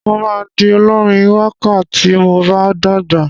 Mo máa di olórin wákà tí mo bá dàgbà.